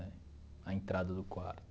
A entrada do quarto.